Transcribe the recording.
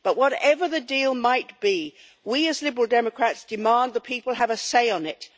But whatever the deal might be, we as the Liberal Democrats demand the people have a say on it.